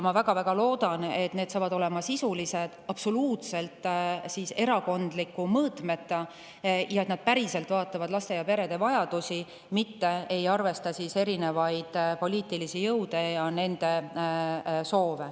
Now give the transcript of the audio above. Ma väga-väga loodan, et need on sisulised, absoluutselt erakondliku mõõtmeta ja päriselt lähtuvad laste ja perede vajadustest, mitte ei arvesta erinevaid poliitilisi jõude ja nende soove.